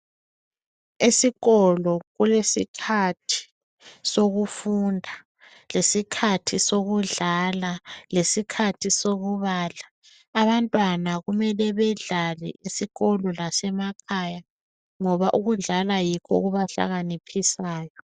Esikolo kulesikhathi sokudunda, lesikhathi sokudlala lesikhathi sokudlala. Abantwana kumele badlale esikolo lasemakhaya ngoba ukudlala yikho okubahlakaniphisayo.